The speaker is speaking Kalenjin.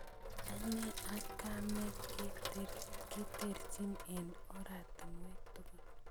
Ane ak kamet keterchin eng oratinwek tugul